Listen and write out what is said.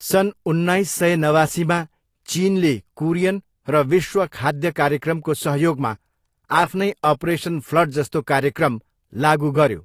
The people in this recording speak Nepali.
सन् उन्नाइस सय नवासीमा चिनले कुरियन र विश्व खाद्य कार्यक्रमको सहयोगमा आफ्नै अपरेसन फ्लड जस्तो कार्यक्रम लागु गऱ्यो।